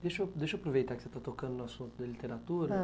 Deixa eu deixa eu aproveitar que você está tocando no assunto da literatura. Ãh?